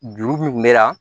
Juru min kun bɛ na